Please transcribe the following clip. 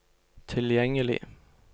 tilgjengelig